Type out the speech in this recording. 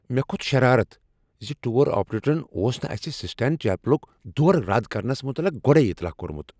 مےٚ کھوٚت شرارتھ ز ٹور آپریٹرن اوس نہٕ اسہ سسٹین چیپلک دورٕ رد کرنس متعلق گۄڈے اطلاع کوٚرمت۔